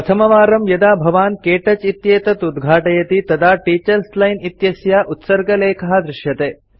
प्रथमवारं यदा भवान् क्तौच इत्येतत् उद्घाटयति तदा टीचर्स् लाइन् इत्यस्य उत्सर्गलेखः दृश्यते